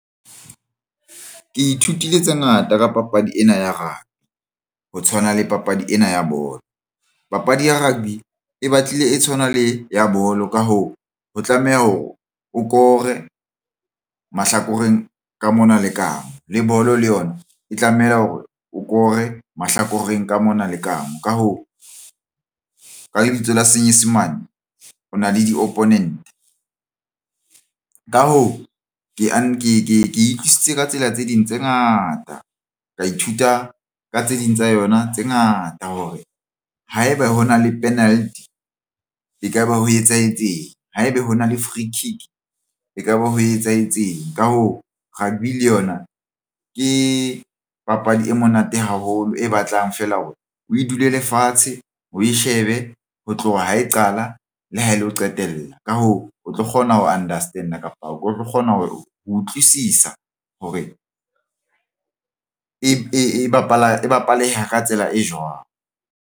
Ke ithutile tse ngata ka papadi ena ya rugby, ho tshwana le papadi ena ya bolo papadi ya rugby e batlile e tshwana le ya bolo. Ka hoo, ho tlameha hore o kore o mahlakoreng ka mona le kampo le bolo le yona e tlameha hore o ko re mahlakoreng ka mona. Le kamoo ka hoo, ka lebitso la Senyesemane, o na le di-opponent ka hoo ke utlwisisitse ka tsela tse ding tse ngata ka ithuta ka tse ding tsa yona tse ngata hore haeba hona le penalty ekaba ho etsahetseng haeba hona le freekick ekaba ho etsahetseng ka hoo rugby le yona ke papadi e monate haholo e batlang feela hore o e dulele fatshe o ko shebe be ho tloha ho e qala le ho lo qetella ka hoo o tlo kgona ho understand-a kapa o tlo kgona ho utlwisisa hore e bapaleha ka tsela e jwang.